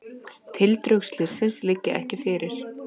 Tildrög slyssins liggja ekki fyrir.